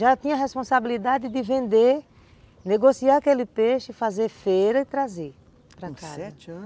Já tinha a responsabilidade de vender, negociar aquele peixe, fazer feira e trazer para casa, com sete anos?